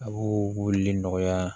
A b'o weleli nɔgɔya